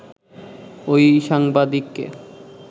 ওই সাংবাদিককে